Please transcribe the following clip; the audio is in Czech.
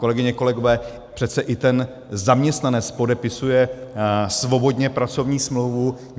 Kolegyně, kolegové, přece i ten zaměstnanec podepisuje svobodně pracovní smlouvu.